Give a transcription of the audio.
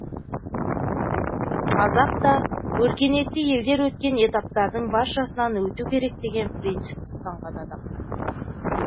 қазақ та өркениетті елдер өткен этаптардың баршасынан өту керек деген принципті ұстанған адам